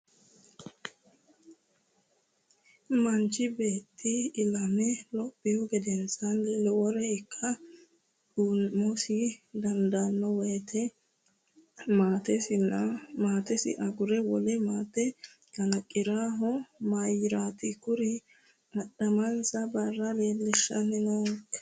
Manichi beetti ilame lophihu gedenaanni lowore ikke uumonsa dandaanno woyiite maatensa agure wole maate kalaqirannohu mayiirati? Kuri adhamensa Barra leellishayi nookka?